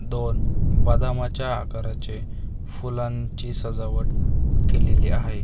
दोन बदामाच्या आकाराचे फुलांची सजावट केलेली आहे .